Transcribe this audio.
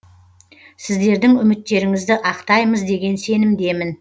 сіздердің үміттеріңізді ақтаймыз деген сенімдемін